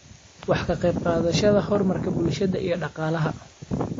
waxaad ka qayb qaadanaysaa horumarka bulshada iyo dhaqaalaha.